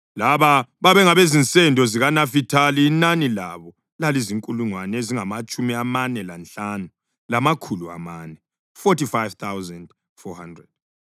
Laba babengabezinsendo zikaNafithali; inani labo lalizinkulungwane ezingamatshumi amane lanhlanu, lamakhulu amane (45,400).